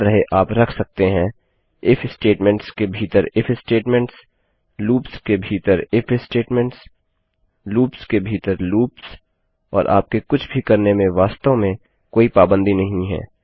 याद रहे आप रख सकते हैं इफ स्टेटमेंट्स स्टेटमेंट्स के भीतर इफ स्टेटमेंट्सstatements लूप्स के भीतर इफ स्टेटमेंट्सstatements लूप्स के भीतर लूप्स और आपके कुछ भी करने में वास्तव में कोई पाबंदी नहीं है